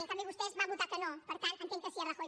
en canvi vostès van votar que no per tant entenc que sí a rajoy